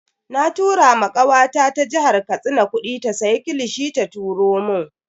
Na tura ma kawata ta jihar Katsina kudi ta siya kilishi ta turo mun.